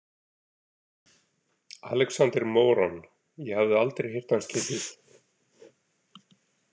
Alexander Moran, ég hafði aldrei heyrt hans getið.